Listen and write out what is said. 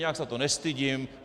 Nijak se za to nestydím.